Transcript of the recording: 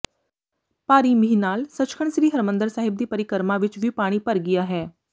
ਭਾਰੀ ਮੀਂਹ ਨਾਲ ਸੱਚਖੰਡ ਸ੍ਰੀ ਹਰਿਮੰਦਰ ਸਾਹਿਬ ਦੀ ਪਰਿਕਰਮਾ ਵਿੱਚ ਵੀ ਪਾਣੀ ਭਰ ਗਿਆ ਹੈ